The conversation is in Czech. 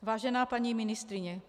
Vážená paní ministryně.